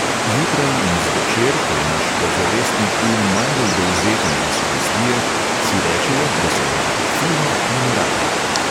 Zjutraj in zvečer, ko je naš podzavestni um najbolj dovzeten za sugestije, si rečejo, da se imajo fino in radi.